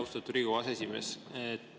Austatud Riigikogu aseesimees!